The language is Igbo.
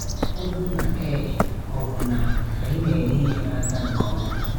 Ọ bụrụ na ee, ọ̀ bụ na anyị na-ele ihe n’aka nke ọma?